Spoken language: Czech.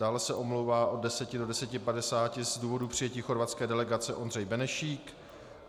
Dále se omlouvá od 10 do 10.50 z důvodu přijetí chorvatské delegace Ondřej Benešík.